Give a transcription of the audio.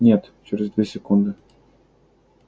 нет через две секунды